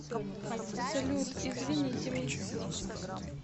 салют извините мисс